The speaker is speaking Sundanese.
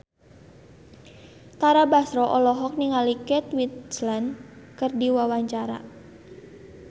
Tara Basro olohok ningali Kate Winslet keur diwawancara